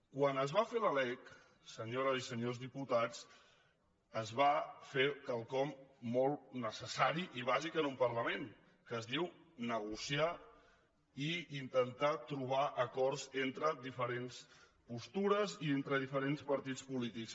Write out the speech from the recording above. quan es va fer la lec senyores i senyors diputats es va fer quelcom molt necessari i bàsic en un parlament que es diu negociar i intentar trobar acords entre diferents postures i entre diferents partits polítics